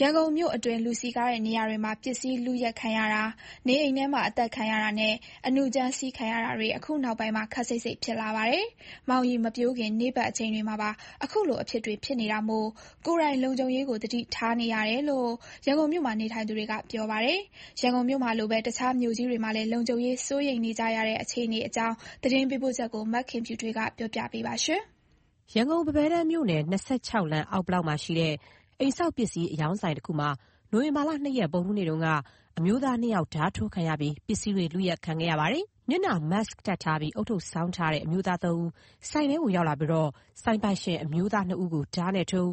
ရန်ကုန်မြို့အတွင်း လူစည်ကားတဲ့ နေရာတွေမှာ ပစ္စည်းလုယက်ခံရတာ၊ နေအိမ် ထဲမှာ အသတ်ခံရတာနဲ့ အနုကြမ်းစီးခံရတာတွေ အခုနောက်ပိုင်းမှာ ခပ်စိပ်စိပ်ဖြစ်လာပါတယ်။ မှောင်ရီမပျိုးခင် နေ့ဘက် အချိန်တွေမှာပါ အခုလိုအဖြစ်တွေ ဖြစ်နေတာမို့ ကိုယ်တိုင်လုံခြုံရေးကို သတိထားနေရတယ်လို့ ရန်ကုန်မြို့မှာ နေထိုင်သူတွေက ပြောပါတယ်။ ရန်ကုန်မြို့မှာလိုပဲ တခြားမြို့ကြီးတွေမှာလည်း လုံခြုံရေးစိုးရိမ်နေကြတဲ့ အခြေအနေအကြောင်း ရန်ကုန်ကလာတဲ့သတင်းပို့ချက်ကို မခင်ဖြူထွေးက တင်ပြပေးထားပါတယ်။ ရန်ကုန်၊ ပန်းဘဲတန်းမြို့နယ်၊ ၂၆ လမ်း အောက်ဘလောက်မှာရှိတဲ့ အိမ်ဆောက်ပစ္စည်း အရောင်းဆိုင်တခုမှာ နိုဝင်ဘာလ ၂ ရက်၊ ဗုဒ္ဓဟူးနေ့တုန်းက အမျိုးသား ၂ ဦး ဓားထိုးခံရပြီး ပစ္စည်းတွေ လုယက်ခံခဲ့ရပါတယ်။ မျက်နှာ Mask တပ်ထားပြီး ဦးထုပ်ဆောင်းထားတဲ့ အမျိုးသား ၃ ဦး ဆိုင်ထဲကို ရောက်လာပြီး ဆိုင်ပိုင်ရှင် အမျိုးသား ၂ ဦးကို ဓားနဲ့ထိုး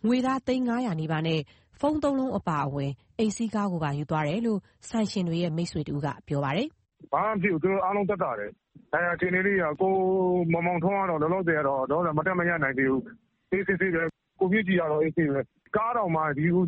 ၊ ငွေသား သိန်း ၅၀၀ နီးပါးနဲ့ ဖုန်းသုံးလုံးအပါအဝင် အိမ်စီးကားကိုပါ ယူသွားတယ်လို့ ဆိုင်ရှင်တွေရဲ့ မိတ်ဆွေတဦးက ပြောပါတယ်။ "ဘာမှမဖြစ်ဘူး။ သူတို့အားလုံး သက်သာတယ်။ ဒဏ်ရာ အခြေအနေလေးတွေက ကိုမောင်မောင်ထွန်းကတော့ လောလောဆယ်ကတော့ မတ်တပ်မရပ်နိုင်သေးဘူး။ ကိုမြင့်ကြည်ကတော့ အေးအေးဆေးဆေးပဲ။ ကားတောင်မှ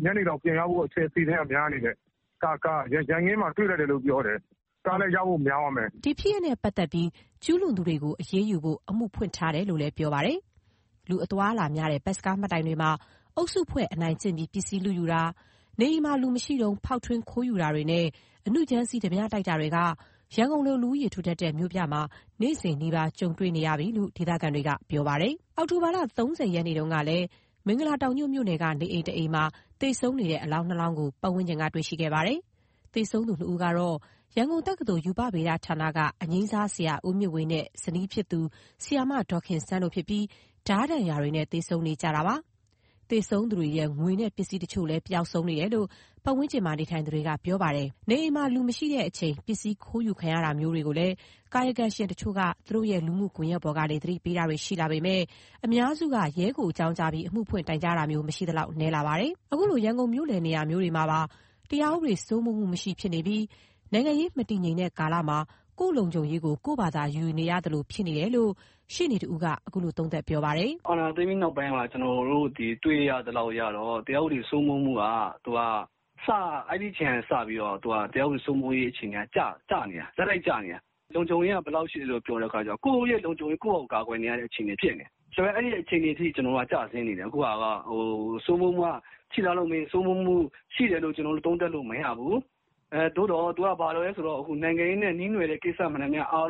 ညနေလောက်ပြန်ရဖို့ အစီအစဉ်က များနေတယ်။ ကားကို ရန်ကင်းမှာ တွေ့လိုက်တယ်လို့ ပြောတယ်။ ကားလည်း ရဖို့များတယ်။" ဒီဖြစ်စဉ်နဲ့ပတ်သက်ပြီး ကျူးလွန်သူတွေကို အရေးယူဖို့ အမှုဖွင့်ထားတယ်လို့လည်း ပြောပါတယ်။ လူအသွားအလာများတဲ့ ဘတ်စ်ကားမှတ်တိုင်တွေမှာ အုပ်စုဖွဲ့ အနိုင်ကျင့်ပြီး ပစ္စည်းလုယူတာ၊ နေအိမ်မှာလူမရှိတုန်း ဖောက်ထွင်းခိုးယူတာနဲ့ အနုကြမ်းစီး ဓားပြတိုက်တာတွေက ရန်ကုန်လို လူဦးရေထူထပ်တဲ့ မြို့ပြမှာ နေ့စဉ်နီးပါး ကြုံတွေ့နေရပြီလို့ ဒေသခံတွေက ပြောပါတယ်။ အောက်တိုဘာလ ၃၀ နေ့တုန်းကလည်း မင်္ဂလာတောင်ညွန့် မြို့နယ်က နေအိမ်တအိမ်မှာ သေဆုံးနေတဲ့ အလောင်း ၂ လောင်းကို ပတ်ဝန်းကျင်က တွေ့ရှိခဲ့ပါတယ်။ သေဆုံးသူ ၂ ဦးကတော့ ရန်ကုန်တက္ကသိုလ် ရူပဗေဒဌာနက အငြမ်းစားဆရာ ဦးမြင့်ဝေနဲ့ဇနီးဖြစ်သူ ဆရာမ ဒေါ်ခင်စန်းတို့ဖြစ်ပြီး ဓားဒဏ်ရာတွေနဲ့ သေဆုံးနေကြတာဖြစ်ပါတယ်။ သေဆုံးသူတွေရဲ့ ငွေနဲ့ပစ္စည်းတချို့ကိုလည်း ပျောက်ဆုံးနေတယ်လို့ ပတ်ဝန်းကျင်မှာ နေထိုင်သူတွေက ပြောပါတယ်။ နေအိမ်မှာလူမရှိချိန် ပစ္စည်းခိုးယူခံရတာမျိုးတွေကိုလည်း ကာယကံရှင်တချို့က သူတို့ရဲ့လူမှုကွန်ယက်ပေါ်ကနေ အသိပေးတာတွေရှိလာပေမယ့် အများစုက ရဲကိုအကြောင်းကြားပြီး အမှုဖွင့်တိုင်ကြားတာမျိုး မရှိသလောက် နည်းလာပါတယ်။ အခုလိုရန်ကုန်မြို့လယ်နေရာမျိုးမှာပါ တရားဥပဒေစိုးမိုးမှု မရှိဖြစ်နေပြီး နိုင်ငံရေးမတည်ငြိမ်တဲ့ကာလမှာ ကိုယ့်လုံခြုံရေးကို ကိုယ့်ဘာသာယူနေရသလို ဖြစ်နေတယ်လို့ ရှေ့နေတဦးက အခုလို သုံးသပ်ပါတယ်။ “အာဏာသိမ်းပြီးနောက်ပိုင်းမှာ ကျနော်တို့တွေ့ရသလောက်အရတော့ တရားဥပဒေစိုးမိုးမှုက အဲ့ဒီအချိန်ကနေစပြီးတော့ တရားဥပဒေစိုးမိုးရေးအခြေအနေက ကျနေတာ။ ဆက်တိုက်ကျနေတာ။ လုံခြုံရေးက ဘယ်လောက်ရှိသလဲဆိုရင် ကိုယ့်ရဲ့လုံခြုံရေးက ကိုယ့်ဟာကိုယ် ကာကွယ်နေရတဲ့ အခြေအနေ ဖြစ်နေတယ်။ ဆိုတော့ အဲ့ဒီအခြေအနေအထိ ကျဆင်းနေတယ်။ စိုးမိုးမှုရှိလားဆိုရင် စိုးမိုးမှုရှိတယ်လို့ သုံးသပ်လို့ မရဘူး။ သို့သော် သူက နိုင်ငံရေးနဲ့နှီးနွယ်နေတဲ့ကိစ္စတွေပဲ အာ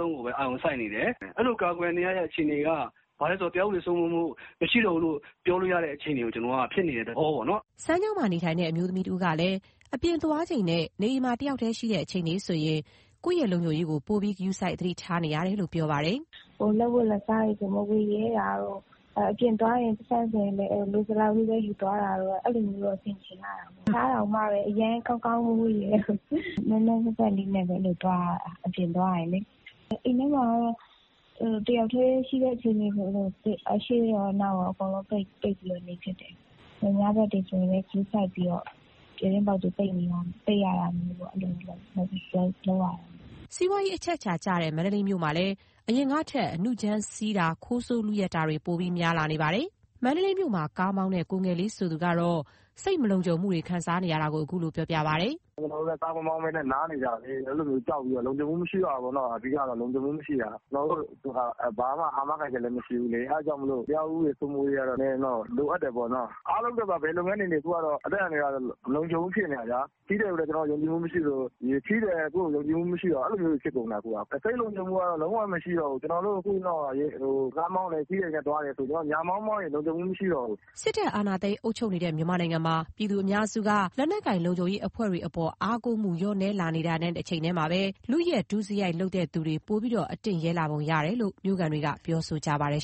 ရုံစိုက်နေတယ်။ အဲ့လိုကာကွယ်နေရတာက တရားဥပဒေစိုးမိုးမှုကို မရှိဘူးဆိုတာကို ဖြစ်နေတဲ့သဘောပေါ့နော်။” စမ်းချောင်းမှာနေထိုင်တဲ့ အမျိုးသမီးငယ်တဦးကလည်း အပြင်သွားချိန်နဲ့ နေအိမ်မှာ တယောက်တည်းရှိတဲ့ အချိန်တွေဆို ကိုယ့်ရဲ့လုံခြုံရေးကို ပိုပြီးဂရုစိုက် သတိထားနေရတယ်လို့ ပြောပါတယ်။ "လက်ဝတ်လက်စားတွေ မဝတ်ရဲတာတို့၊ အပြင်သွားရင် ပိုက်ဆံကို လိုသလောက်လေးပဲ ယူသွားတာတို့၊ အဲလိုလေးပဲ ဆင်ခြင်နေရတယ်။ အဝတ်အစားတောင်မှ အရမ်းကောင်းကောင်းကြီး မဝတ်ရဲဘူး။ အပြင်သွားရင် နွမ်းနွမ်းဖတ်ဖတ်ပဲ သွားရတာ။ အိမ်ထဲမှာ တယောက်တည်းရှိတဲ့အချိန်တွေဆို တံခါးတွေကို အရှေ့ရော အနောက်ရော ပိတ်ပြီးနေတယ်။ ညဘက်တွေဆိုလည်း ဂရုစိုက်ပြီးတော့ ပြတင်းပေါက်တွေကို ပိတ်ပြီးအိပ်ရတာမျိုး လုပ်ရတယ်။" စီးပွားရေးအချက်အခြာကျတဲ့ မန္တလေးမြို့မှာလည်း အရင်ကထက် အနုကြမ်းစီးမှု ခိုးဆိုးလုယက်မှုတွေက ပိုများလာနေတာပါ။ မန္တလေးမြို့မှာ ကားမောင်းတဲ့ ကိုငယ်လေးဆိုသူကတော့ သူ စိတ်မလုံခြုံခံစားနေရတာတွေကို အခုလိုပြောပြပါတယ်။ “ကျနော်တို့လည်း ကားမမောင်းဘဲ နားနေကြရတာလေ။ အဲ့လိုကြောက်ပြီးတော့ လုံခြုံမှုမရှိတော့ဘူးပေါ့။ အဓိကက လုံခြုံမှုမရှိတာ။ ကျနော်တို့ဆိုတာ ဘာမှ အာမခံချက်လည်းမရှိဘူး။ အဲ့ဒါကြောင့် တရားဥပဒေ စိုးမိုးရေးက နည်းနည်းတော့လိုအပ်တယ်ပေါ့။ အားလုံးအတွက် ဘယ်လုပ်ငန်းနေနေ အသက်အန္တရာယ်က မလုံခြုံဘူးဖြစ်နေတာ။ ခရီးသည်ကိုလည်း ယုံကြည်မှုမရှိသလို ခရီးသည်ကလည်း ကိုယ့်ကို ယုံကြည်မှုမရှိတော့ဘူး။ အဲ့လိုတွေဖြစ်နေတာ။ စိတ်လုံခြုံမှုက လုံးဝကိုမရှိတော့ဘူး ကျနော်တို့ကားမောင်းတာ ညမောင်း မောင်းရင် လုံခြုံမှု မရှိတော့ဘူး။” စစ်တပ်အာဏာသိမ်း အုပ်ချုပ်နေတဲ့ မြန်မာနိုင်ငံမှာ ပြည်သူအများစုက လက်နက်ကိုင်လုံခြုံရေးအဖွဲ့တွေအပေါ် အားကိုးမှု လျော့နည်းလာနေတာနဲ့တချိန်ထဲ လုယက် ဒုစရိုက်လုပ်သူတွေ ပိုအတင့်ရဲလာပုံရတယ်လို့ မြို့ခံတွေက ပြောနေကြပါတယ်